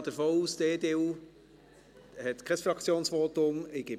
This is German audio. Ich gehe davon aus, dass die EDU kein Fraktionsvotum hat.